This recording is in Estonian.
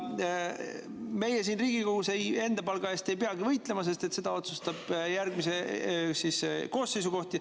Meie siin Riigikogus enda palga eest ei pea võitlema, sest me järgmise koosseisu palga.